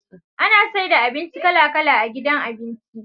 Ana saida abinci kala kala a gidan abinci